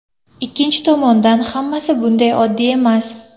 Ikkinchi tomondan, hammasi bunday oddiy emas.